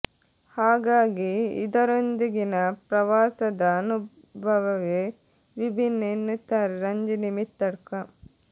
ಹಾಗಾಗಿ ಇದರೊಂದಿಗಿನ ಪ್ರವಾಸದ ಅನು ಭವವೇ ವಿಭಿನ್ನ ಎನ್ನುತ್ತಾರೆ ರಂಜಿನಿ ಮಿತ್ತಡ್ಕ